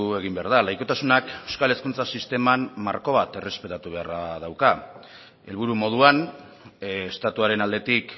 egin behar da laikotasunak euskal hezkuntza sisteman marko bat errespetatu beharra dauka helburu moduan estatuaren aldetik